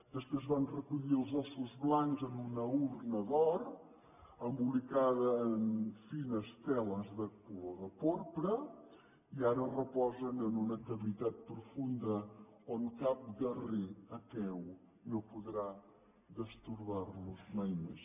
després van recollir els ossos blancs en una urna d’or embolicada en fines teles de color de porpra i ara reposen en una cavitat profunda on cap guerrer aqueu no podrà destorbar los mai més